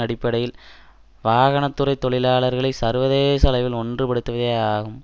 அடிப்படையில் வாகன துறை தொழிலாளர்களை சர்வதேச அளவில் ஒன்றுபடுத்துவே ஆகும்